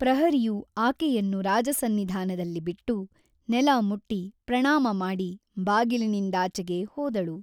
ಪ್ರಹರಿಯು ಆಕೆಯನ್ನು ರಾಜಸನ್ನಿಧಾನದಲ್ಲಿ ಬಿಟ್ಟು ನೆಲಮುಟ್ಟಿ ಪ್ರಣಾಮ ಮಾಡಿ ಬಾಗಿಲಿನಿಂದಾಚೆಗೆ ಹೋದಳು.